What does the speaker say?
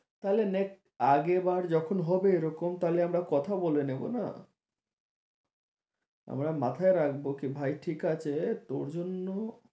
তাহলে next আর এবার তাহলে আমরা কথা বলে নেবো না আমরা মাথায় রাখবো সে ভাই ঠিক আছে তোর জন্য